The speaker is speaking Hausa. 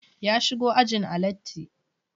Ya shigo ajin a latti